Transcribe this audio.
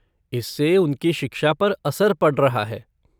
इससे उनकी शिक्षा पर असर पड़ रहा है।